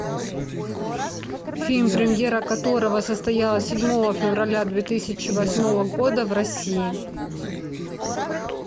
фильм премьера которого состоялась седьмого февраля две тысячи восьмого года в россии